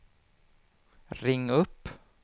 ring upp